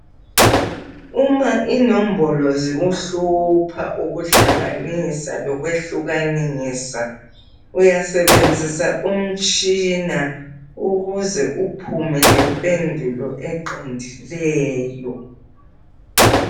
Uma inombolo zikuhlupha ukuhlanganisa lokwehlukanisa, uyasebenzisa umtshina ukuze uphume lempendulo eqondileyo.